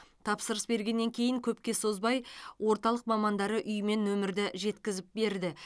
тапсырыс бергеннен кейін көпке созбай орталық мамандары үйіме нөмірді жеткізіп берді